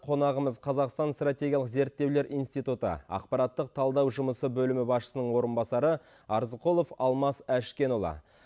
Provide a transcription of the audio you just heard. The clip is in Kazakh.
қонағымыз қазақстан стратегиялық зерттеулер институты ақпараттық талдау жұмысы бөлімі басшысының орынбасары арзықұлов алмас әшкенұлы